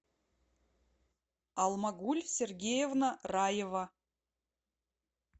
алмагуль сергеевна раева